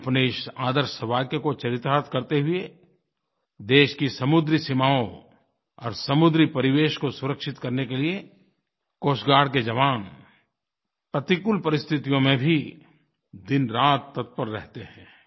अपने इस आदर्श वाक्य को चरितार्थ करते हुए देश की समुद्री सीमाओं और समुद्री परिवेश को सुरक्षित करने के लिये कोस्ट गार्ड के जवान प्रतिकूल परिस्थितियों में भी दिनरात तत्पर रहते हैं